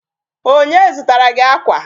Onye zụtara gị akwa?